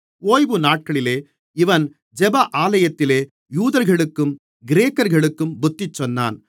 ஓய்வு நாட்களிலே இவன் ஜெப ஆலயத்திலே யூதர்களுக்கும் கிரேக்கர்களுக்கும் புத்திசொன்னான்